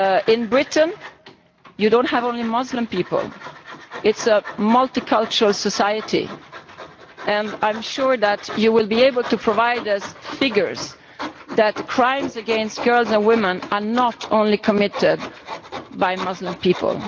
In Britain you do not have only Muslim people it is a multicultural society and I am sure that you will be able to provide us with figures that crimes against girls and women are not committed only by Muslim people.